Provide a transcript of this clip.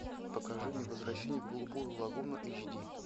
покажи мне возвращение в голубую лагуну эйч ди